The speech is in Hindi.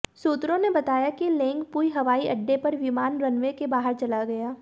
सूत्रों ने बताया कि लेंगपुई हवाईअड्डे पर विमान रनवे के बाहर चला गया